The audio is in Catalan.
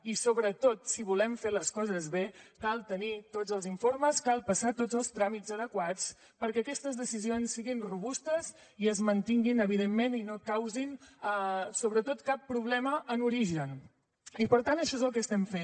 i sobretot si volem fer les coses bé cal tenir tots els informes cal passar tots els tràmits adequats perquè aquestes decisions siguin robustes i es mantinguin evidentment i no causin sobretot cap problema en origen i per tant això és el que estem fent